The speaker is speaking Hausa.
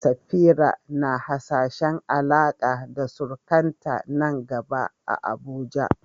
Safira na hasashen Alaƙa da surukanta nan gaba a Abuja.